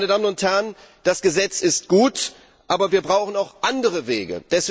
Meine Damen und Herren, das Gesetz ist gut, aber wir brauchen auch andere Wege.